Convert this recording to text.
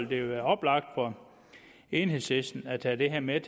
det være oplagt for enhedslisten at tage det her med